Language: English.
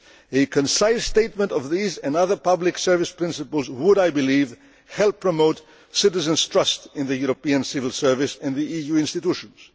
A concise statement of these and other public service principles would, I believe, help promote citizens' trust in the European civil service and the EU institutions.